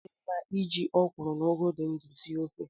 Ọ di mma iji ọ kwụrụ na ụgụ dị ndụ sie ofe.